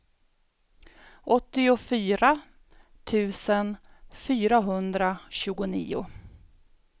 åttiofyra tusen fyrahundratjugonio